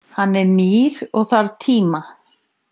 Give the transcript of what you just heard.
Hann er nýr og þarf tíma.